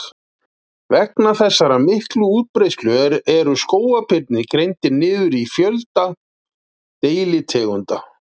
Vegna þessarar miklu útbreiðslu eru skógarbirnir greindir niður í fjölda deilitegunda.